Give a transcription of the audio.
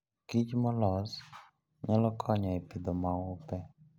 kich molos nyalo konyo e pidho maupe.